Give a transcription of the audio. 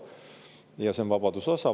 Ja see on vabaduse osa.